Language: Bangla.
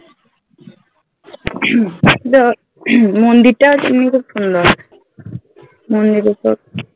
যা মন্দির টা এমনি খুব সুন্দর